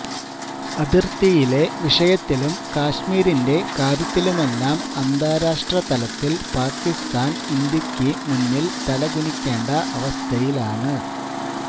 അതിർത്തിയിലെ വിഷയത്തിലും കശ്മീരിന്റെ കാര്യത്തിലുമെല്ലാം അന്താരാഷ്ട്ര തലത്തില് പാകിസ്ഥാന് ഇന്ത്യക്ക് മുന്നില് തലകുനിക്കേണ്ട അവസ്ഥയിലാണ്